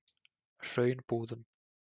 Hraunbúðum